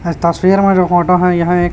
इस तस्वीर में जो फोटो है यह एक--